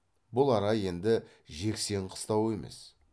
бұл ара енді жексен қыстауы емес